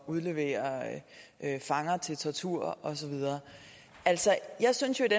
udlevere fanger til tortur og så videre jeg synes jo at